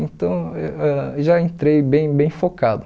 Então, ãh já entrei bem bem focado.